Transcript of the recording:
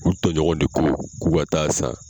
U tɔɲɔgɔn de ko k'u ka taa san